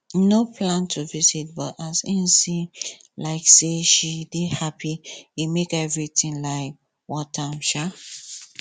e no plan to visit but as him see um say she dey happy e make everything um worth am um